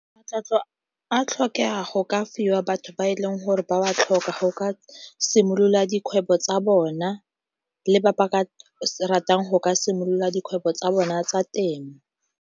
Matlotlo a tlhokega go ka fiwa batho ba e leng gore ba wa tlhoka ga o ka simolola dikgwebo tsa bona le ba ba ka ratang go ka simolola dikgwebo tsa bona tsa temo.